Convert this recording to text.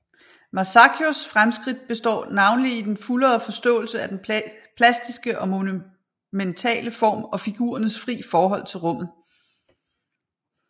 Masaccios fremskridt består navnlig i den fuldere forståelse af den plastiske og monumentale form og figurernes fri forhold til rummet